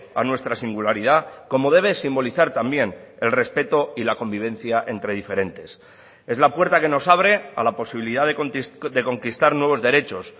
a nuestra singularidad como debe simbolizar también el respeto y la convivencia entre diferentes es la puerta que nos abre a la posibilidad de conquistar nuevos derechos